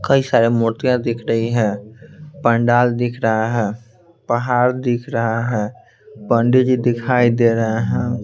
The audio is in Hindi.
कई सारे मूर्तियां दिख रही है पंडाल दिख रहा है पहाड़ दिख रहा है पंडित जी दिखाई दे रहे हैं।